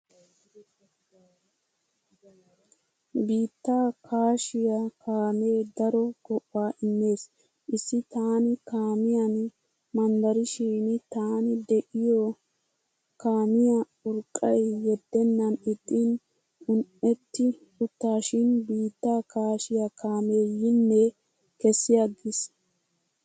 Biittaa kaashiyaa kaamee daro go'aa immees. Issi taani kaamiyan manddarishin tani de"iyoo kaamiyaa urqqay yeddennan ixxin un"etti uttaashin biittaa kaashiyaa kaamee yinne kessiyaaggis.